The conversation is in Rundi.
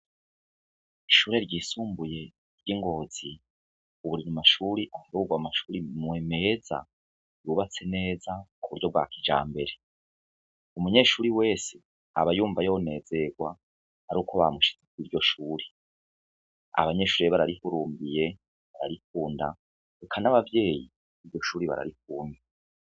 Ishure ryisumbuye ry'i Ngozi ubu riri mu mashure aharurwa mu mashure meza, yubatse neza mu buryo bwa kijambere. Umunyeshure wese aba yumva yonezerwa ari uko bamushize kuri iryo shure. Abanyeshure rero bararihurumbiye, bararikunda, eka n'abavyeyi iryo shure bararikunda.